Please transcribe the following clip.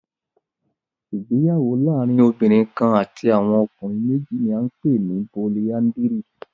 Ìgbéyàwó laarin obinrin kan ati awọn ọkunrin meji ni a npe ni políandírì